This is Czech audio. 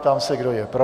Ptám se, kdo je pro.